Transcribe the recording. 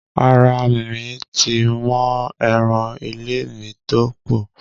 Ara mi ti mọ́ eran ilé mi tó kú.